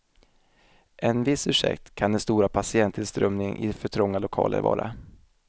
En viss ursäkt kan den stora patienttillströmningen i för trånga lokaler vara.